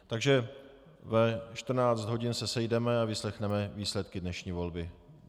Takže ve 14 hodin se sejdeme a vyslechneme výsledky dnešní volby.